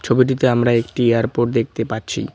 ছবিটিতে আমরা একটি এয়ারপোর্ট দেখতে পাচ্ছি।